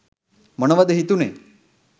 මොනවද හිතුණේ?